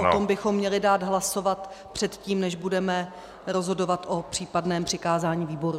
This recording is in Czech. O tom bychom měli dát hlasovat předtím, než budeme rozhodovat o případném přikázání výboru.